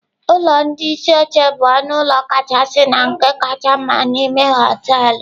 Ụlọ ndị isi oche bụ ọnụ ụlọ kachasị na nke kacha mma n'ime họteelụ.